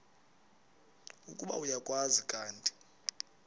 ukuba uyakwazi kanti